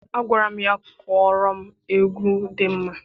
Agwara m ya, kụọrọ m egwu dị mma!